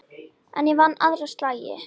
En ég vann aðra slagi.